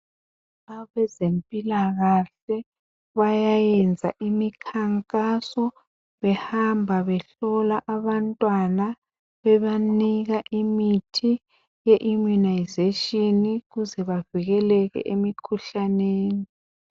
Abezempilakahle bayayenza imikhankaso behamba behlola abantwana bebanika imithi yeimmunisation ukuze bavikeleke emikhuhlaneni.